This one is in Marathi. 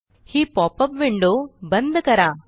ही पॉपअप विंडो बंद करा